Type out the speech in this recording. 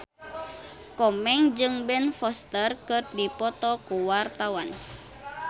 Komeng jeung Ben Foster keur dipoto ku wartawan